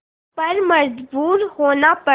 पर मजबूर होना पड़ा